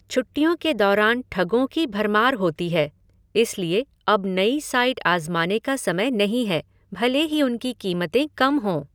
छुट्टियों के दौरान ठगों की भरमार होती है, इसलिए अब नई साइट आज़माने का समय नहीं है, भले ही उनकी कीमतें कम हों।